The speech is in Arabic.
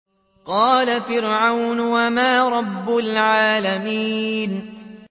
قَالَ فِرْعَوْنُ وَمَا رَبُّ الْعَالَمِينَ